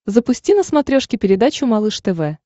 запусти на смотрешке передачу малыш тв